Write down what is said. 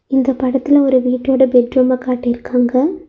இந்த படத்துல ஒரு வீட்டோட பெட் ரூம காட்டிருக்காங்க